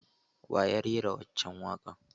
Wa ya rera waccan waƙar?